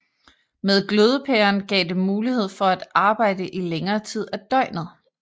Med glødepæren gav det mulighed for at arbejde i længere tid af døgnet